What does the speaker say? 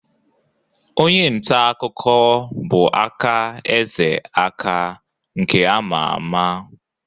Onye nta akụkọ bụ Aka Eze Aka nke ama ama.